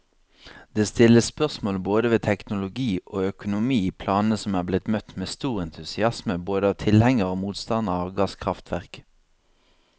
Det stilles spørsmål både ved teknologiog økonomi i planene som er blitt møtt med stor entusiasme både av tilhengere og motstandere av gasskraftverk.